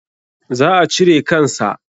Za a cire kan sa.